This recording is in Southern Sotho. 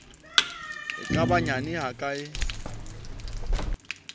e ka ba nyane hakae